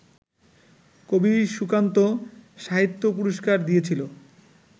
কবি সুকান্ত-সাহিত্য পুরস্কার দিয়েছিল